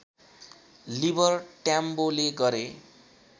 liver ट्याम्बोले गरे